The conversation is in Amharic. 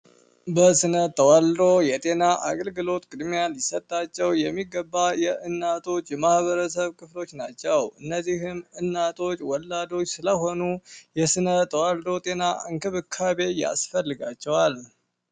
የስነ ተዋልዶ የጤና አገልግሎት ቅድሚያ ሊሰጣቸው የሚገባ የእናቶች የማህበረሰብ ክፍሎች ናቸው። እነዚህን እናቶች ወላጆች ስለሆኑ የስነ ተዋልዶ ጤና እንክብካቤ ያስፈልጋቸዋል።